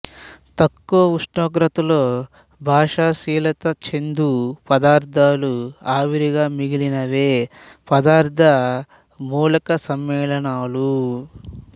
తక్కువ ఉష్ణోగ్రతలో బాష్పశీలత చెందు పదార్థాలు ఆవిరిగా మిగిలినవే పదార్థ మూలక సమ్మేళానలు